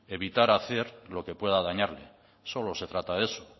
evitar hacer lo que pueda dañarle solo se trata de eso